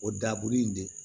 O dabulu in de